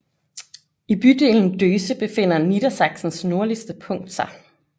I bydelen Döse befinder Niedersachsens nordligste punkt sig